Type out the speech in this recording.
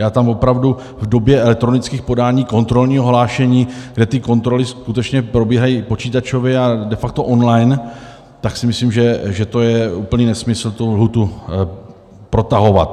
Já tam opravdu v době elektronických podání, kontrolního hlášení, kde ty kontroly skutečně probíhají počítačově a de facto on-line, tak si myslím, že je úplný nesmysl tu lhůtu protahovat.